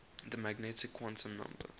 the magnetic quantum number